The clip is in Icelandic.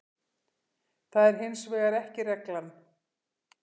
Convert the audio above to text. Það er hins vegar ekki reglan.